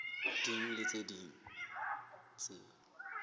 ding le tse ding tse